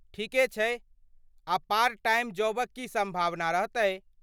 ठीके छै ,आ पार्ट टाइम जॉबक की सम्भावना रहतै?